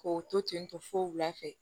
K'o to ten tɔ fo wulafɛ